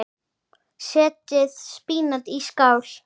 Setjið spínat í skál.